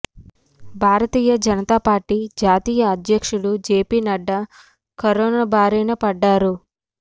భారతీయ Janata party జాతీయ అధ్యక్షుడు JP Nadda corona బారినపడ్డారు